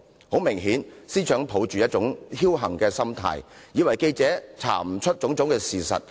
很明顯，司長是抱着僥幸心態，以為記者無法查出種種事實。